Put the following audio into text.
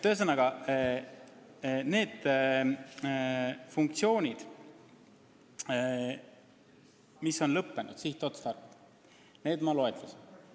Ühesõnaga, need funktsioonid, mille sihtotstarve on kadunud, ma loetlesin.